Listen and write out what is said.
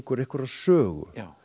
einhverrar sögu